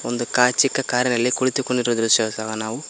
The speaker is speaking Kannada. ಒಂದು ಕಾ ಚಿಕ್ಕ ಕಾರಿನಲ್ಲಿ ಕುಳಿತುಕೊಂಡಿರುವ ದೃಶ್ಯವು ಸಹ ನಾವು--